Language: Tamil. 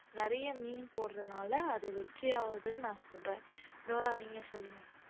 நிறைய meme போடுறதுனால அத வெற்றி ஆகுதுன்னு நான் சொல்றேன் டோரா நீங்க சொல்லுங்க